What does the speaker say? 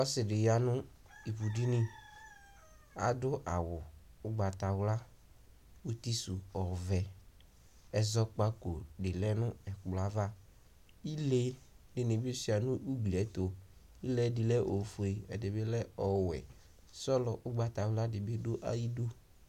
Ɔsɩ ɖɩ ƴa nʋ ivuɖini Aɖʋ awʋ ʋgbatawla, utisʋ ɔvɛ; ɛzɔƙpaƙo ɖɩ lɛ nʋ ɛƙplɔ avaIle ɖɩnɩ bɩ sʋɩa nʋ ugli ɛtʋ :ile ɖɩ lɛ ofue, ɛɖɩ bɩ lɛ ɔwɛSɔlɔ ʋgbatawla ɖɩ bɩ ɖʋ aƴiɖu